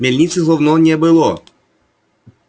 мельницы словно не было